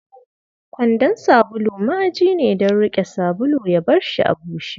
Kwandon sabulu ma'aji ne don riƙe sabulu, ya barshi a bushe.